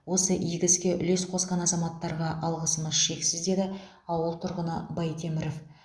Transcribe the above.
осы игі іске үлес қосқан азаматтарға алғысымыз шексіз деді ауыл тұрғыны байтеміров